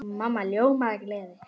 Mamma ljómaði af gleði.